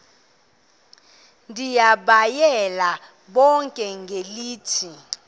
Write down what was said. ndibayale bonke ngelithi